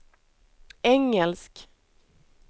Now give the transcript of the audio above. engelsk